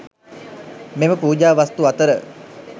මෙම පූජා වස්තු අතර